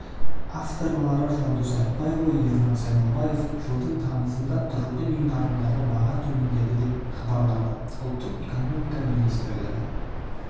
авторлары жандос айтбайұлы ернар сайлаубаев жылдыңтамызында тұрғын үй нарығындағы баға төмендеді деп хабарлады ұлттық экономика министрлігі